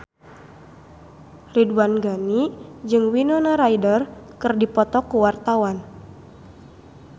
Ridwan Ghani jeung Winona Ryder keur dipoto ku wartawan